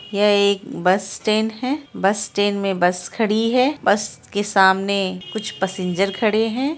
यह एक bus stand है बस स्टैन्ड मे बस खड़ी है बस के सामने कुछ पसिंजर खड़े है ।